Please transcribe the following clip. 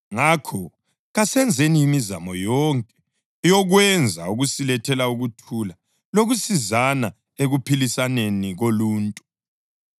Ngakho kasenzeni imizamo yonke yokwenza okusilethela ukuthula lokusizana ekuphilisaneni koluntu.